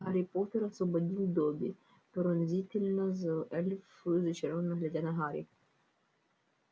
гарри поттер освободил добби пронзительно за эльф зачарованно глядя на гарри